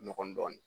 Nɔgɔn dɔɔnin